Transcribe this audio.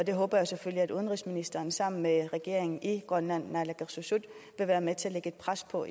jeg håber selvfølgelig at udenrigsministeren sammen med regeringen i grønland naalakkersuisut vil være med til at lægge pres på